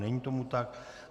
Není tomu tak.